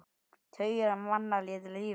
Tugir manna létu þá lífið.